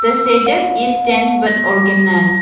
the setup is dense but organised.